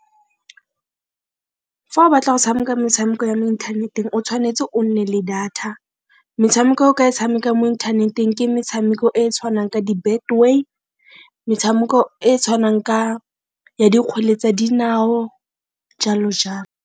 Fa o batla go tshameka metshameko ya mo inthaneteng o tshwanetse o nne le data, metshameko e o ka e tshamekang mo inthaneteng ke metshameko e e tshwanang ka di-Betway, metshameko e tshwanang ka ya dikgwele tsa dinao jalo .